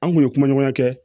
An kun ye kuma ɲɔgɔnya kɛ